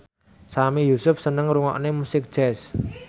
Sami Yusuf seneng ngrungokne musik jazz